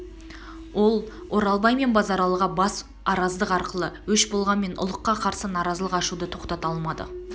ол оралбай мен базаралыға бас араздық арқылы өш болғанмен ұлыққа қарсы наразылық ашуды тоқтата алмады